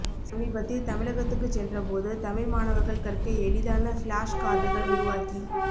சமீபத்தில் தமிழகத்துக்குச் சென்ற போது தமிழ் மாணவர்கள் கற்க எளிதான ஃப்ளாஷ் கார்டுகள் உருவாக்கி